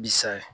Bisa ye